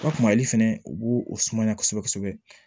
O kumali fɛnɛ u b'o o sumaya kosɛbɛ kosɛbɛ